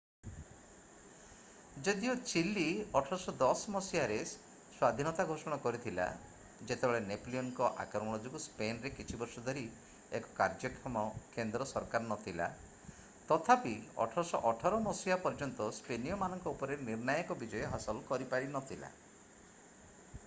ଯଦିଓ ଚିଲି 1810 ମସିହାରେ ସ୍ଵାଧୀନତା ଘୋଷଣା କରିଥିଲା ଯେତେବେଳେ ନେପୋଲିଅନଙ୍କ ଆକ୍ରମଣ ଯୋଗୁଁ ସ୍ପେନରେ କିଛି ବର୍ଷ ଧରି ଏକ କାର୍ଯ୍ୟକ୍ଷମ କେନ୍ଦ୍ର ସରକାର ନଥିଲା ତଥାପି 1818 ମସିହା ପର୍ଯ୍ୟନ୍ତ ସ୍ପେନୀୟମାନଙ୍କ ଉପରେ ନିର୍ଣ୍ଣାୟକ ବିଜୟ ହାସଲ କରିପାରିନଥିଲା।